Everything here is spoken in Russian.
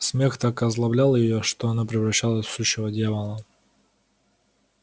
смех так озлоблял её что она превращалась в сущего дьявола